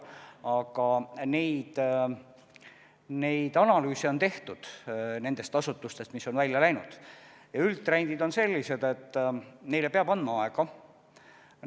Aga neid analüüse on tehtud nendes asutustes, mis on pealinnast ära läinud, ja üldtrendid on sellised, et neile peab aega andma.